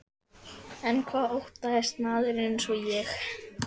En hvað óttast maður einsog ég?